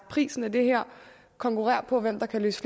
prisen er det her konkurrerer på hvem der kan løse